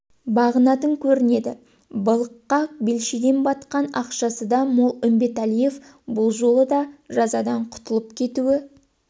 бағынатын көрінеді былыққа белшеден батқан ақшасы да мол үмбеталиев бұл жолы да жазадан құтылып кетуі